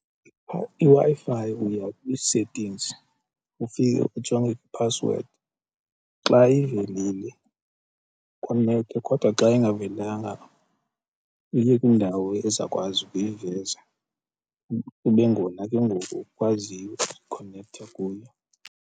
IWi-Fi uya kwii-settings ufike ujonge iphasiwedi xa ivelile konektha kodwa xa ingavelanga uye kwindawo ezawukwazi ukuyiveza kube ngona ke ngoku ukwaziyo ukukhonekthe kuyo.